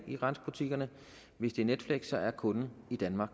i grænsebutikkerne hvis det er netflix er kunden i danmark